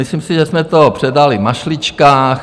Myslím si, že jsme to předali v mašličkách.